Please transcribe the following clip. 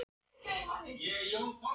Ég finn þær ekki sagði gamli maðurinn.